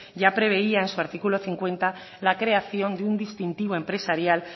ya preveía en su artículo cincuenta la creación de un distintivo empresarial